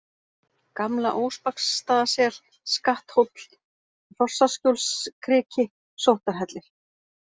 Gamla-Óspaksstaðasel, Skatthóll, Hrossaskjólskriki, Sóttarhellir